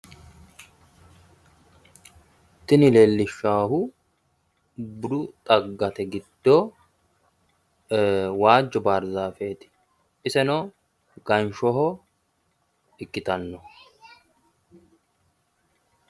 Tini leellishaahu budu xaggate giddo waajjo bardaafeeti. iseno ganshshoho ikkitanno.